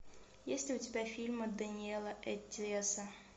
есть ли у тебя фильмы дэниэла эттиэса